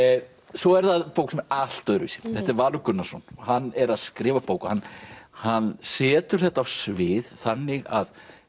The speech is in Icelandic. svo er það bók sem er allt öðruvísi þetta er Valur Gunnarsson og hann er að skrifa bók og hann setur þetta á svið þannig að